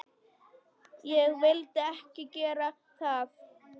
Ég vildi ekki gera það.